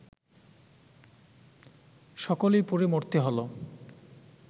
সকলেই পুড়ে মরতে হল